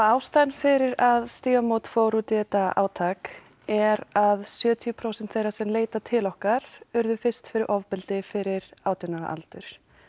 ástæðan fyrir að Stígamót fór út í þetta átak er að sjötíu prósent þeirra sem leita til okkar urðu fyrst fyrir ofbeldi fyrir átján ára aldur